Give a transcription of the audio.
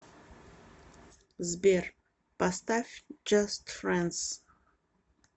сбер поставь джаст френдс